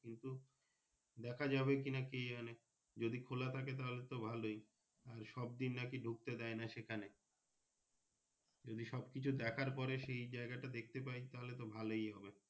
কিন্তু দ্যাখা যাবে কিনা কে জানে যদি খোলা থাকে তাহলে তো ভালোই আর সব দিন নাকি ঢুকতে দেয় না সেখানে যদি সব কিছু দ্যাখার পরে সেই জায়গাটা দেখতে পাই তাহলে তো ভালোই হবে।